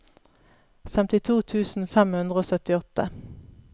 femtito tusen fem hundre og syttiåtte